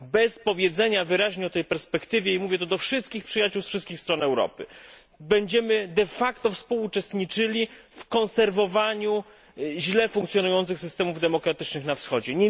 Bez powiedzenia wyraźnie o tej perspektywie i mówię to do wszystkich przyjaciół ze wszystkich stron Europy będziemy współuczestniczyli w konserwowaniu źle funkcjonujących systemów demokratycznych na Wschodzie.